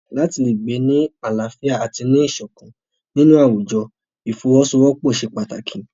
Láti le gbé ní àlàáfíà àti ní ìṣọ̀kan nínú àwùjọ ìfọwọ́sowọ́pọ̀ ṣe pàtàkì.